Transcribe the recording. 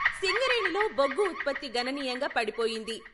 సింగరేణిలో బొగ్గు ఉత్పత్తి గణనీయంగా పడిపోయింది.